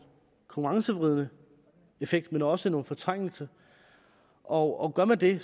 konkurrenceforvridende effekt men også en fortrængning og og gør man det